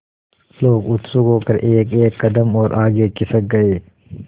लोग उत्सुक होकर एकएक कदम और आगे खिसक गए